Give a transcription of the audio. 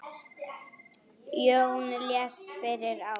Jón lést fyrir ári.